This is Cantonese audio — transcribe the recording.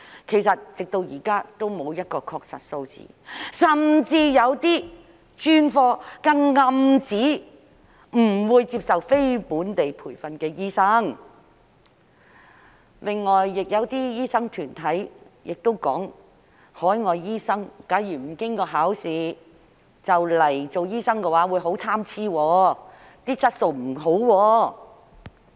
其實，直至現在也沒有確實的數字，甚至有些專科更暗指不會接受非本地培訓的醫生，另外亦有些醫生團體表明，假如海外醫生不經考試便來港做醫生的話，質素便會很參差。